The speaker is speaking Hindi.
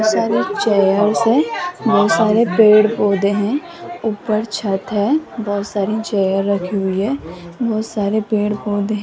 बहुत सारी चेयर्स हैं बहुत सारे पेड़ पौधे हैं ऊपर छत है बहुत सारी चेयर रखी हुई है बहुत सारे पेड़ पौधे --